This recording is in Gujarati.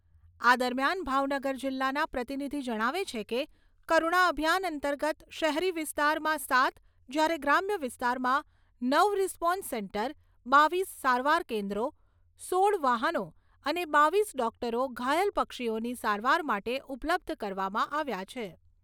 આ દરમિયાન ભાવનગર જિલ્લાના પ્રતિનિધિ જણાવે છે કે, કરુણા અભિયાન અંતર્ગત શહેરી વિસ્તારમાં સાત જ્યારે ગ્રામ્ય વિસ્તારમાં નવ રિસ્પોન્સ સેન્ટર, બાવીસ સારવાર કેન્દ્રો, સોળ વાહનો અને બાવીસ ડોક્ટરો ઘાયલ પક્ષીઓની સારવાર માટે ઉપલબ્ધ કરવામાં આવ્યા છે.